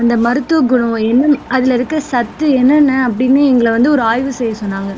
அந்த மருத்துவ குணம் அதுல இருக்குற சத்து என்னென்ன அப்படின்னு எங்களை வந்து ஒரு ஆய்வு செய்ய சொன்னாங்க